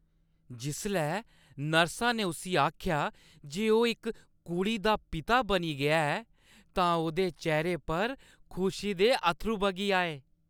जिसलै नर्सा ने उस्सी आखेआ जे ओह् इक कुड़ी दे पिता बनी गेआ ऐ तां ओह्‌दे चेह्‌रे उप्पर खुशी दे अत्थरू बगी आए।